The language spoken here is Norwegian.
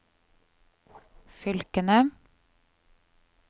fylkene